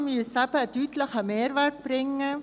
Umfahrungen müssen einen deutlichen Mehrwert bringen.